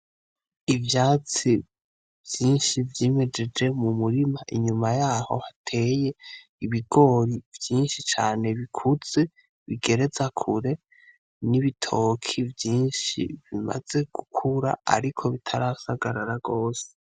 Ivyatsi vyinshi vyimejeje mu murima inyuma yaho hateye ibigori vyinshi cane bikuze bigereza kure n'ibitoki vyinshi bimaze gukura, ariko bitarasagarara rose.